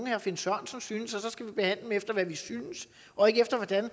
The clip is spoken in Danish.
herre finn sørensen synes og så skal vi behandle dem efter hvad vi synes og ikke efter hvordan